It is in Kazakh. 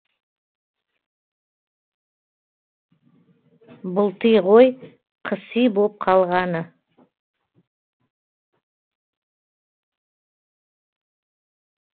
былти ғой қыси боп қалғаны